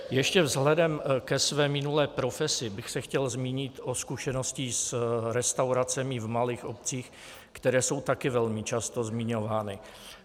Ještě vzhledem ke své minulé profesi bych se chtěl zmínit o zkušenosti s restauracemi v malých obcích, které jsou také velmi často zmiňovány.